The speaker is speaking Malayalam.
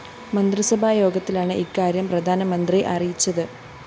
മന്ത്രിസഭായോഗത്തിലാണ് ഇക്കാര്യം പ്രധാനമന്ത്രി അറിയിച്ചത്